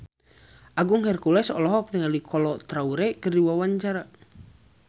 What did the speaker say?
Agung Hercules olohok ningali Kolo Taure keur diwawancara